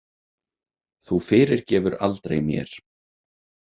Þú fyrirgefur aldrei mér.